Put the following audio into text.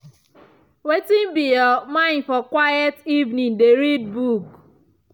wetin be your mind for quiet evening dey read book.